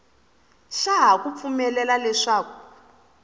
xa ha ku pfumelela leswaku